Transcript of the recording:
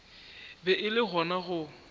be e le gona go